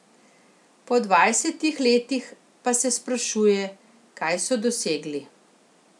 Po dvajsetih letih pa se sprašuje, kaj so dosegli.